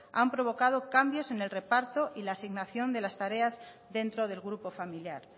ha provocado cambios en el reparto y la asignación de las tareas dentro del grupo familiar